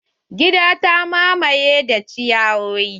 Gidan ta mamaye da ciyawoyi.